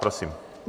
Prosím.